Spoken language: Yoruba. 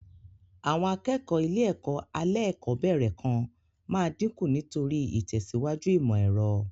Àwọn akẹ́kọ̀ọ́ ilé-ẹ̀kọ́ alẹ́kọ̀ọ́bẹ̀rẹ̀ kan máa dinku nítorí ìtẹ̀síwájú ìmọ̀ èrọ.